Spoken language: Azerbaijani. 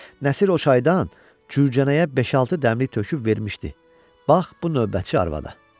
Nəsir o çaydan Cürcənəyə beş-altı dəmlik töküb vermişdi, bax bu növbətçi arvada.